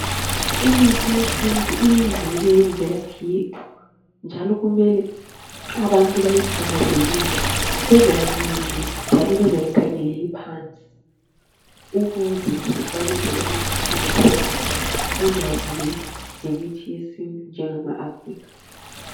Imithi yesintu iyingxenye yemvelaphi yethu njalo kumele abantu bayithakazelele bengayinini njalo bengayikhangeleli phansi, ukuze sikwanise ukuthuthukisa ulwazi lwethu ngemithi yesintu ngema Afrikha.